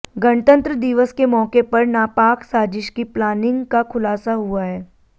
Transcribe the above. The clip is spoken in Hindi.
गणतंत्र दिवस के मौके पर नापाक साजिश की प्लानिंग का खुलासा हुआ है